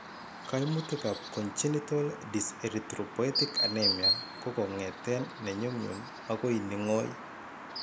Kaimutikap congenital dyserthropolrtic anemia kokongeten ne nyumnyum agoi ne ngoy.